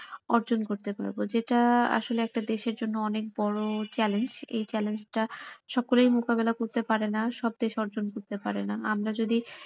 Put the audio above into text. অর্জন করতে পারবো যেটা আসলে একটা দেশের জন্য অনেক বড় challenge এই challenge টা সকলে মুকাবেলা করতে পারেনা সব দেস অর্জন করতে পারে না আমরা যদি,